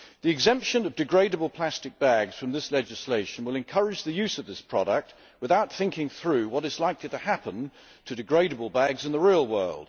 The exemption of degradable plastic bags from this legislation will encourage the use of this product without thinking through what is likely to happen to degradable bags in the real world.